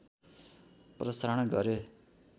प्रसारण गरे